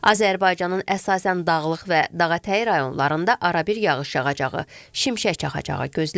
Azərbaycanın əsasən dağlıq və dağətəyi rayonlarında arabir yağış yağacağı, şimşək çaxacaqı gözlənilir.